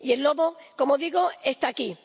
Y el lobo —como digo— está aquí.